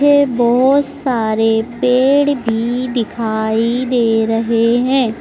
बहोत सारे पेड़ भी दिखाई दे रहे है।